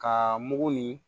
Ka mugu nin